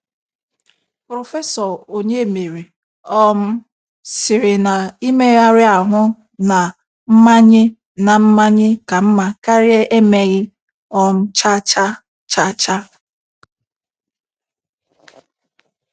Prọfesọ Onyemere um sịrị na Imegharị ahụ na mmanye na mmanye ka mma karịa emeghị um chacha. chacha.